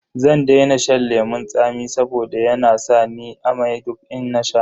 Zan daina shan lemun tsami saboda yana sa ni amai duk in nasha.